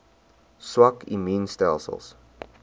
swak immuun stelsels